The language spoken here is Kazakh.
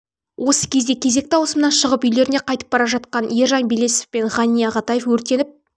осы кезде кезекті ауысымнан шығып үйлеріне қайтап бара жатқан ержан белесов пен ғани ағатаев өртеніп